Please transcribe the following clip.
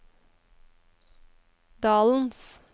dalens